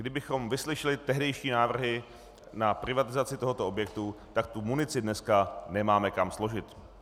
Kdybychom vyslyšeli tehdejší návrhy na privatizaci tohoto objektu, tak tu munici dneska nemáme kam složit.